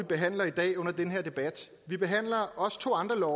behandler i dag under den her debat vi behandler også to andre